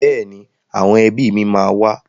Bẹ́ẹ̀ni, àwọn ẹbí mi máa wá.